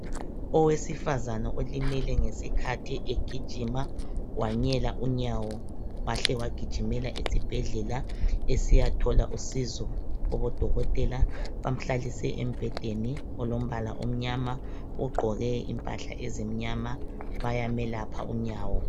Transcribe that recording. Owesifazane olimele ngesikhathi egijima. Wanyela unyawo. Wahle wagijimela esibhedlela. Esiyathola usizo, kubodokotela.. Bamhlalise embhedeni, olombala omnyama. Ugqoke impahla ezimnyama. Bayamelapha unyawo.